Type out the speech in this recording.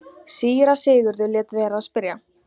Síra Sigurður lét vera að spyrja.